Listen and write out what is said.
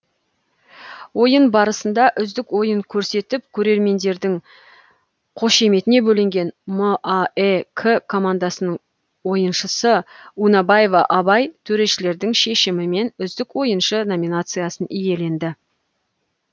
ойын барысында үздік ойын көрсетіп көрермендердің қошеметіне бөленген маэк командасының ойыншысы унайбаев абай төрешілердің шешімімен үздік ои ыншы номинациясын иеленді